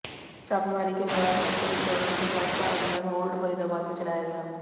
छापेमारी के दौरान मेडिकल स्टोरों की जांच का अभियान ओल्ड फरीदाबाद में चलाया गया